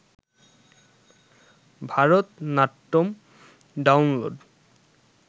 Bharatanatyam download